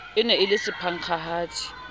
e ne e le sephankgahadi